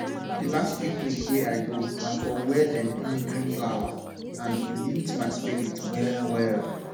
di last picnic wey i go na for where dem plant green flower and e lift my spirit well well